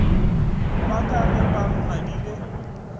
ba ka ge ba ngadile